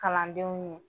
Kalandenw ye